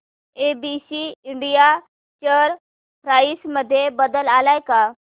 ABC India share price मध्ये बदल आलाय का